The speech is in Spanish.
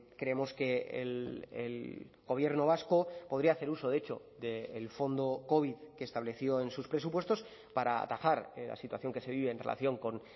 creemos que el gobierno vasco podría hacer uso de hecho del fondo covid que estableció en sus presupuestos para atajar la situación que se vive en relación con